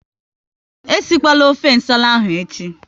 E si kwana ofe nsala ahụ echi!